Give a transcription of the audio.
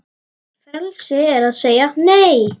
Frelsi er að segja Nei!